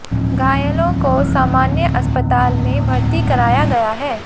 घायलों को सामान्य अस्पताल में भर्ती कराया गया है